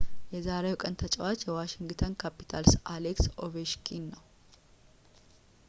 የዛሬው ቀን ተጫዋች የዋሺንግተን ካፒታልስ አሌክስ ኦቬችኪን ነው